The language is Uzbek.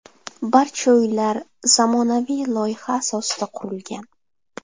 Barcha uylar zamonaviy loyiha asosida qurilgan.